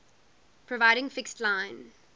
providing fixed line